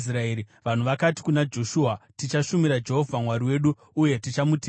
Vanhu vakati kuna Joshua, “Tichashumira Jehovha Mwari wedu, uye tichamuteerera.”